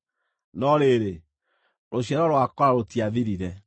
No rĩrĩ, rũciaro rwa Kora rũtiathirire.